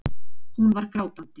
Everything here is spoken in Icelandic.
Hún var grátandi.